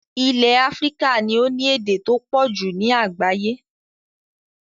Ilẹ̀ Africa ni o ni èdè to pọ̀jù ni àgbáyẹ́